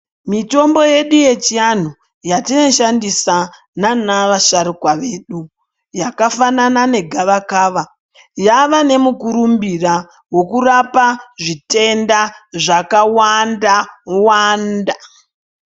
Mitombo yedu ye chianhu yatino shandisa nana vasharukwa vedu yaka fanana ne gavakava yava ne mukurumbira weku rapa zvitenda zvaka wanda wanda.